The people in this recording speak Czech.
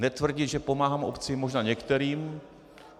Netvrdit, že pomáhám obcím, možná některým.